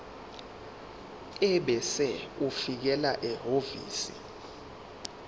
ebese ulifakela ehhovisi